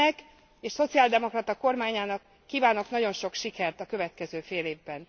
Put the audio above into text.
Önnek és szociáldemokrata kormányának kívánok nagyon sok sikert a következő félévben.